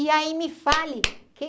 E aí, me fale!